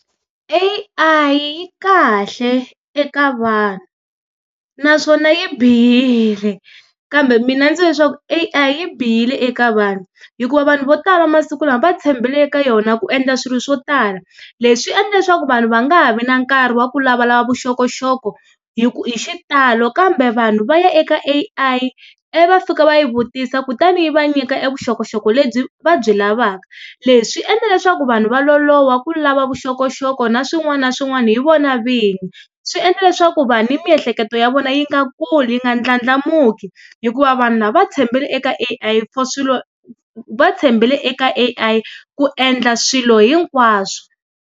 A_I yi kahle eka vanhu, naswona yi bihile kambe mina ndzi leswaku A_I yi bihile eka vanhu hikuva vanhu vo tala masiku lama va tshembele eka yona ku endla swilo swo tala, leswi swi endla leswaku vanhu va nga ha vi na nkarhi wa ku lavalava vuxokoxoko hi ku hi xitalo kambe vanhu va ya eka A_I ivi va fika va yi vutisa kutani yi va nyika e vuxokoxoko lebyi va byi lavaka. Leswi endla leswaku vanhu va loloha ku lava vuxokoxoko na swin'wana na swin'wana hi vona vini, swi endla leswaku vanhu ni miehleketo ya vona yi nga kuli, yi nga ndlandlamuki hikuva vanhu lava va tshembele eka A_I for swilo va tshembele eka A_I ku endla swilo hinkwaswo.